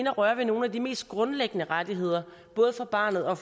at røre ved nogle af de mest grundlæggende rettigheder både for barnet og